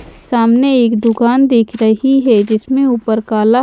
सामने एक दुकान दिख रहीं हैं जिसमें ऊपर काला--